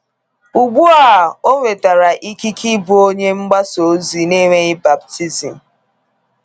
Ugbu a ọ nwetara ikike ịbụ onye mgbasa ozi na-enweghị baptizim.